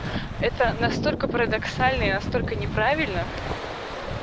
это настолько парадоксально и настолько неправильно